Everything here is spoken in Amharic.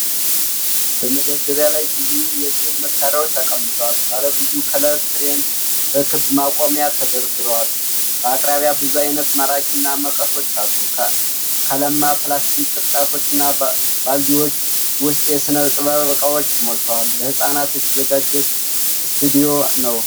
በመደርደሪያ ላይ ብዙ የሥዕል መሣሪያዎች ተቀምጠዋል። ባለብዙ ከለር ክሬዬን በክብ ማቆሚያ ተደርድረዋል። በአቅራቢያ ብዙ አይነት ማርከርና መቀሶች አሉ። ከለማ ፕላስቲክ ቅርጫቶችና ባልዲዎች ውስጥ የሥነ ጥበብ እቃዎች ሞልተዋል። ለህፃናት የተዘጋጀ ስቱዲዮ ነው።